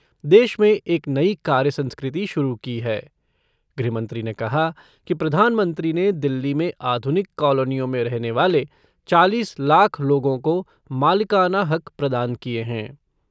देश में एक नई कार्य संस्कृति शुरू की है। गृहमंत्री ने कहा कि प्रधानमंत्री ने दिल्ली में आधुनिक कॉलोनियों में रहने वाले चालीस लाख लोगों को मालिकाना हक प्रदान किए हैं।